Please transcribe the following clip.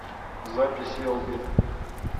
запись элби